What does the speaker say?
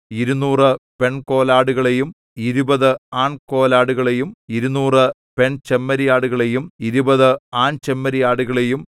ഇരുനൂറ് പെൺകോലാടുകളെയും ഇരുപതു ആൺകോലാടുകളെയും ഇരുനൂറ് പെൺചെമ്മരിയാടുകളെയും ഇരുപതു ആൺചെമ്മരിയാടുകളെയും